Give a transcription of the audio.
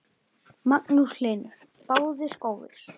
Magnús Hlynur: Báðir góðir?